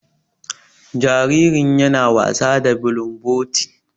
Jaririn ya na wasa da bulumboti.